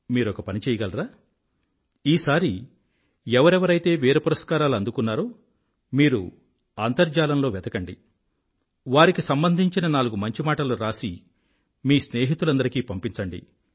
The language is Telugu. మీరొక పని చెయ్యగలరా ఈసారి ఎవరెవరైతే వీరపురస్కారాలు అందుకున్నారో మీరు అంతర్జాలంలో వెతకండి వారికి సంబంధించిన నాలుగు మంచిమాటలు రాసి మీ స్నేహితులందరికీ పంపించండి